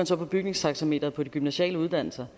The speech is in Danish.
så på bygningstaxameteret på de gymnasiale uddannelser